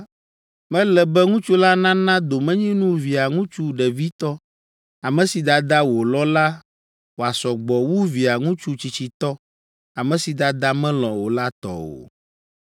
mele be ŋutsu la nana domenyinu Via ŋutsu ɖevitɔ, ame si dada wòlɔ̃ la wòasɔ gbɔ wu Via ŋutsu tsitsitɔ, ame si dadaa melɔ̃ o la tɔ o.